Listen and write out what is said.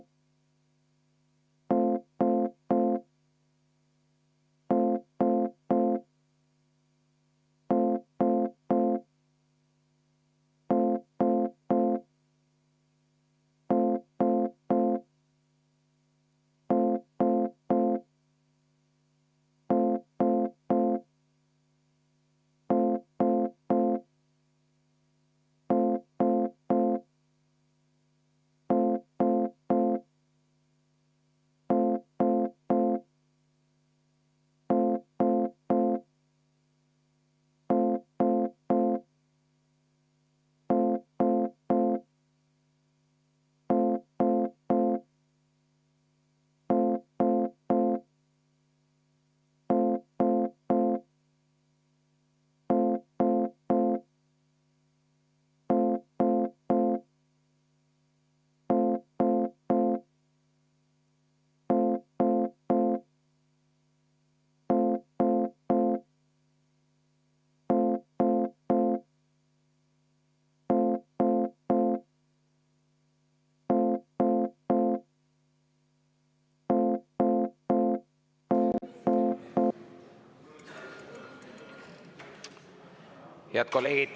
Head kolleegid!